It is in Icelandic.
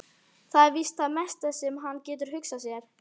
Það er víst það mesta sem hann getur hugsað sér.